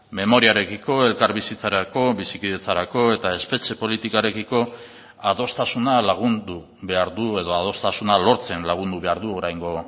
memoriarekiko elkarbizitzarako bizikidetzarako eta espetxe politikarekiko adostasuna lagundu behar du edo adostasuna lortzen lagundu behar du oraingo